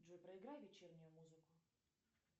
джой проиграй вечернюю музыку